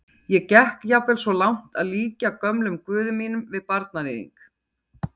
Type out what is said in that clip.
Ég gekk jafnvel svo langt að líkja gömlum guði mínum við barnaníðing.